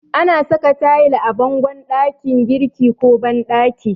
Ana saka tayil a bangon ɗakin girki ko banɗaki.